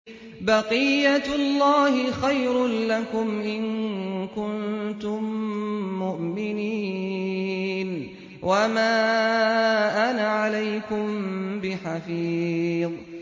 بَقِيَّتُ اللَّهِ خَيْرٌ لَّكُمْ إِن كُنتُم مُّؤْمِنِينَ ۚ وَمَا أَنَا عَلَيْكُم بِحَفِيظٍ